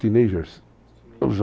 Teenagers